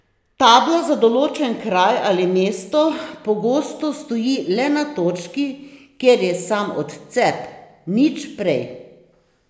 Tabla za določen kraj ali mesto pogosto stoji le na točki, kjer je sam odcep, nič prej.